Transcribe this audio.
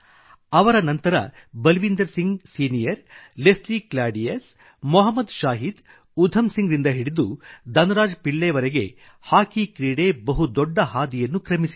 ಅವರ ನಂತರ ಬಲ್ವಿಂದರ್ ಸಿಂಗ್ ಸಿನಿಯರ್ ಲೆಸ್ಲಿ ಕ್ಲಾಡಿಯಸ್ ಮೊಹಮ್ಮದ್ ಶಾಹೀದ್ ಉಧಂ ಸಿಂಗ್ ರಿಂದ ಹಿಡಿದು ಧನ್ರಾಜ್ ಪಿಳ್ಳೈವರೆಗೂ ಹಾಕಿ ಕ್ರೀಡೆ ಬಹು ದೊಡ್ಡ ಹಾದಿಯನ್ನು ಕ್ರಮಿಸಿದೆ